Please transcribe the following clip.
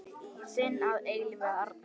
Þinn að eilífu, Arnþór.